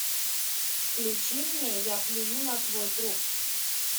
включи мне я плюю на твой труп